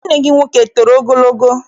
Nwanne gị nwoke etoro ogologo?